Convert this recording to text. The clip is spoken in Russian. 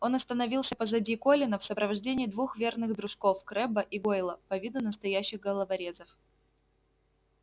он остановился позади колина в сопровождении двух верных дружков крэбба и гойла по виду настоящих головорезов